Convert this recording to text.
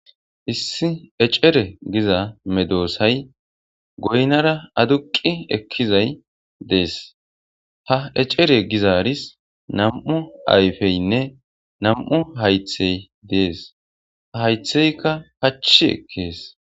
Issi ecere giza medosay goynara aduqi ekizay des ha ecere gizaris nam'u ayfeynne nam'u haythey des haytheyka pachi ekes